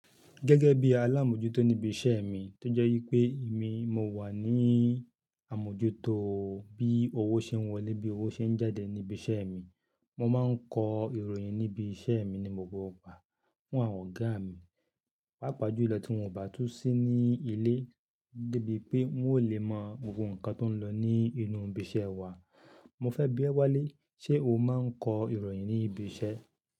Gẹ́gẹ́ bí alámójútó níbi iṣẹ́ mi tó jẹ́ wípé èmi mo wà ní àmójútó bí owó ṣe ń wọlé, bí owó ṣe ń jáde níbi iṣẹ́ mi. Mo máa ń kọ ìròyìn ní ibi iṣẹ́ mi ní gbogbo gbà fún àwọn ọ̀gá mi, pàápàá jùlọ tí wón ò bá tú sí ní ilé gẹ́gẹ́ bí pé wọn ò lè mọ gbogbo nǹkan tó ń lọ ní inú ibi iṣẹ́ wa. Mo fẹ́ bí ẹ wálé, ṣe o máa ń kọ ìròyìn ní ibi iṣẹ́?